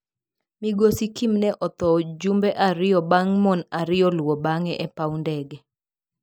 Migosi Kim ne otho jumbe ariyo bang' mon ariyo luwo bang'e e paw ndege.